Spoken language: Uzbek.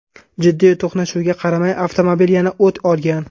Jiddiy to‘qnashuvga qaramay, avtomobil yana o‘t olgan.